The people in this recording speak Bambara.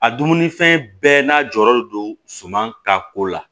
A dumunifɛn bɛɛ n'a jɔyɔrɔ do suman ta ko la